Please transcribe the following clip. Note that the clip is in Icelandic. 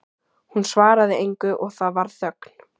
Hún svaraði engu og það varð þögn.